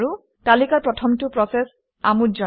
তালিকাৰ প্ৰথমটো প্ৰচেচ আমোদজনক